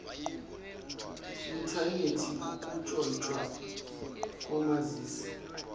inthanethi ukutshontshwa komazizi